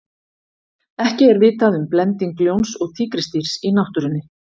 ekki er vitað um blending ljóns og tígrisdýrs í náttúrunni